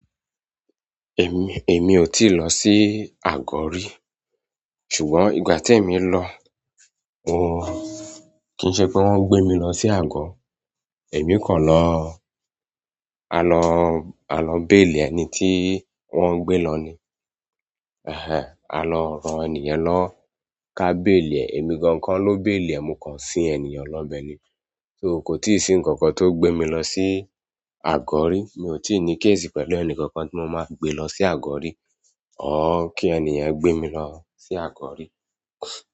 Èmi—èmi ò tíì lọ sí àgọ́ rí, ṣùgbọ́n ìgbà tí èmi lọ, kìí ṣe pé wọ́n gbé mi lọ sí àgọ́. Èmi kàn lọ— a kàn lọ, a lọ béélì ẹni tí wọ́n gbé lọ ni. A lọ ran ẹni yẹn lọ́wọ́, k'á béélì ẹ̀, èmi gan kọ́ ló béélì ẹ̀, mo kàn sin ènìyàn lọ'bẹ̀ ni so kò tíì sí nǹkan kan tó gbé mi lọ sí àgọ́ rí. Mi ò ì tí ì ní case pẹ̀lú ẹnìkankan tí mo máa fi gbée lọ sí àgọ́ rí. Or kí ẹniyẹn gbé mi lọ sí àgọ́ rí.